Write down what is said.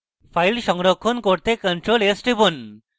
file সংরক্ষণ করতে ctrl + s টিপুন